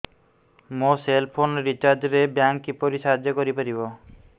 ମୋ cell phone recharge ରେ bank କିପରି ସାହାଯ୍ୟ କରିପାରିବ